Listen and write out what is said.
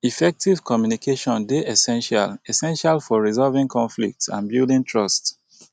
effective communication dey essential essential for resolving conflicts and building trust